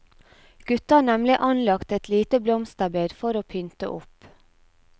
Gutta har nemlig anlagt et lite blomsterbed for å pynte opp.